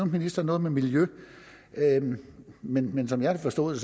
ministeren noget med miljø men men som jeg har forstået